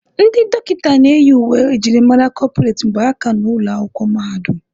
Ndị dọkịta na-eyi uwe njirimara kọpụreti mgbe ha ka nọ ụlọ akwụkwọ mahadum.